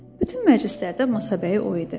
Bütün məclislərdə masabəyi o idi.